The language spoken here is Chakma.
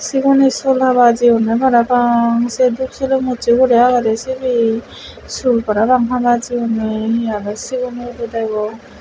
heroune sul java jiyone parapang seh dup sulom useh guri aage de sibe sul parapang hava jiyone he aro sigon goro degong.